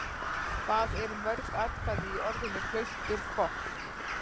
Hvað eru mörg atkvæði í orðinu Klausturfokk?